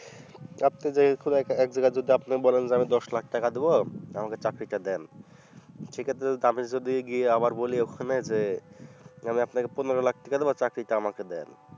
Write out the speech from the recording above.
আপনি যে খুব একটা একজায়গায় যদি আপনি বলেন যে দশ lakh টাকা দিবো আমাকে চাকরিটা দেন সেক্ষেত্রে আমি যদি গিয়ে আবার বলি ওখানে যে আমি আপনাকে পনেরো Lakh টাকা দিবো চাকরিটা আমাকে দেন